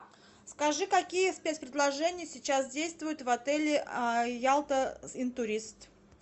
скажи какие спец предложения сейчас действуют в отеле ялта интурист